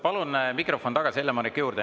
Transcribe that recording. Palun mikrofon tagasi Helle-Moonikale.